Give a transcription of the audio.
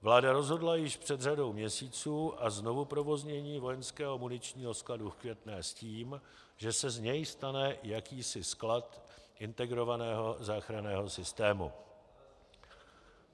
Vláda rozhodla již před řadou měsíců o znovuzprovoznění vojenského muničního skladu v Květné s tím, že se z něj stane jakýsi sklad integrovaného záchranného systému.